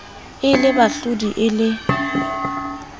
e le bahlodi e le